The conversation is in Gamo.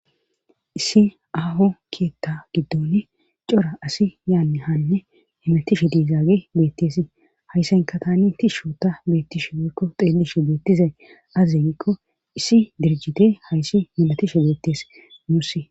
Issi aho keetta giddoni cora asi yaanni hanne hemetishe diizaage beetteesi hayssanka tani tishsho ta beettishe biikko xeellishe beettizay azi giikko issi dirjite hayssi milatishe beettees muussi.